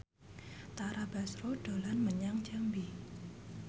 Tara Basro dolan menyang Jambi